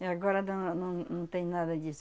E agora dã não num tem nada disso.